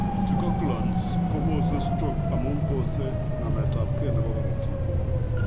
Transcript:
Anticoagulants kobose stroke amu bose nametabkei nebo korotik